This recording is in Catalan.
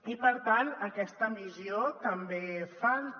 i per tant aquesta missió també falta